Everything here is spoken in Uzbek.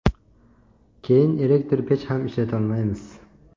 Keyin elektr pech ham ishlatolmaymiz.